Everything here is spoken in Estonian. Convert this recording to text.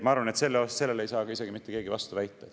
Ma arvan, et sellele ei saa isegi mitte keegi vastu väita.